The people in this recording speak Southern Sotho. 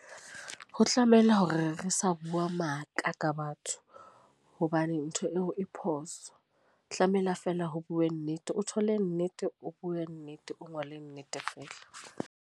Ho tlamehile hore re sa bua maka ka batho. Hobane ntho eo e phoso. Tlamehile fela ho bue nnete. O thole nnete, o bue nnete, o ngole nnete fela.